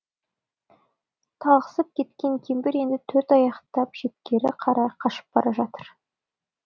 талықсып кеткен кемпір енді төрт аяқтап шеткері қарай қашып бара жатыр